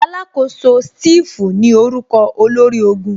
Alakoso Steve ní orúkọ olórí ológun